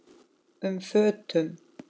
um fötum.